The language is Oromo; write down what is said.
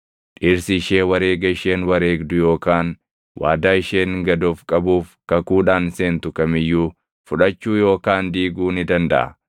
Dhirsi ishee wareega isheen wareegdu yookaan waadaa isheen gad of qabuuf kakuudhaan seentu kam iyyuu fudhachuu yookaan diiguu ni dandaʼa.